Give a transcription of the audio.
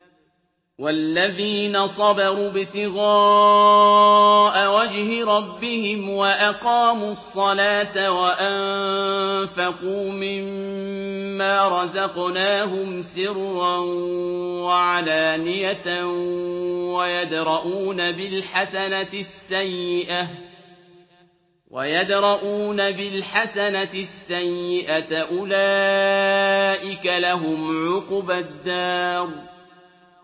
وَالَّذِينَ صَبَرُوا ابْتِغَاءَ وَجْهِ رَبِّهِمْ وَأَقَامُوا الصَّلَاةَ وَأَنفَقُوا مِمَّا رَزَقْنَاهُمْ سِرًّا وَعَلَانِيَةً وَيَدْرَءُونَ بِالْحَسَنَةِ السَّيِّئَةَ أُولَٰئِكَ لَهُمْ عُقْبَى الدَّارِ